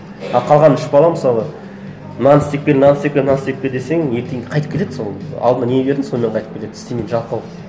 а қалған үш бала мысалы мынаны істеп кел мынаны істеп кел мынаны істеп кел десең ертеңгі қайтып келеді сол алдына не бердің сонымен қайтып келеді істемейді жалқау